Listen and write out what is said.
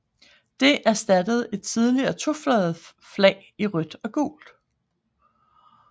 Det erstattede et tidligere tofarvet flag i rødt og gult